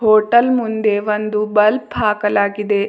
Hotel ಮುಂದೆ ಒಂದು bulb ಹಾಕಲಾಗಿದೆ.